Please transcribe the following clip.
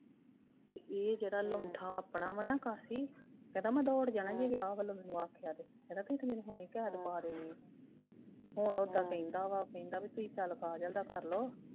ਤੇ ਇਹ ਜਿਹੜਾ ਲਾਉਂਠਾ ਆਪਣਾ ਵਾ ਨਾ ਕਾਫੀ ਕਹਿੰਦਾ ਮੈ ਦੌੜ ਜਾਣਾ ਜੇ ਵਿਆਹ ਵੱਲੋਂ ਮੇਨੂ ਆਖਿਆ ਤੇ ਕਹਿੰਦਾ ਤੁਸੀਂ ਤੇ ਮੈਨੂੰ ਹੁਣੇ ਈ ਕੈਦ ਪਾ ਦੇਣੀ ਏ ਹੁਣ ਓਦਾਂ ਕਹਿੰਦਾ ਵਾ ਕਹਿੰਦਾ ਬਈ ਬੀ ਚੱਲ ਕਾਜਲ ਦਾ ਕਰ ਲਉ।